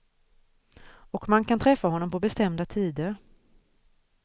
Och man kan träffa honom på bestämda tider.